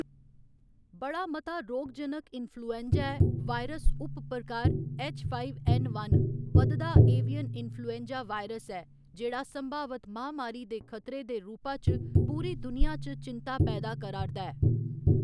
बड़ा मता रोगजनक इन्फ्लूएंजा ए वायरस उपप्रकार ऐच्च फाईव ऐन्न वन बधदा एवियन इन्फ्लूएंजा वायरस ऐ जेह्‌‌ड़ा संभावत महामारी दे खतरे दे रूपा च पूरी दुनिया च चिंता पैदा करा 'रदा ऐ।